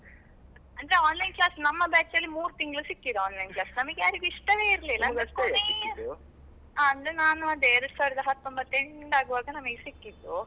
ಅಂದ್ರೆ Online class ನಮ್ಮ batch ಅಲ್ಲಿ ಮೂರೂ ತಿಂಗಳು ಸಿಕ್ಕಿದೆ Online class ನಮಗ್ಯಾರಿಗೂ ಇಷ್ಟವೇ ಇರಲ್ಲಿಲ್ಲ ಅದು ಕೊನೆಯ ಅಂದ್ರೆ ನಾನು ಅದೇ ಎರಡು ಸಾವಿರದ ಹತ್ತೊಂಬತ್ತು end ಆಗುವಾಗ ನಮಗೆ ಸಿಕ್ಕಿದ್ದು.